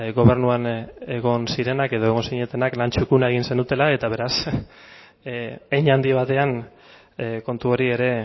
gobernuan egon zirenak edo egon zinatenak lan txukuna egin zenutela eta beraz hein handi batean kontu hori ere